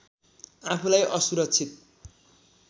आफूलाई असुरक्षित